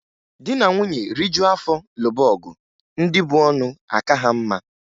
Di na nwunye rijuo afọ lụba ọgụ, ndị bu ọnụ aka ha mma.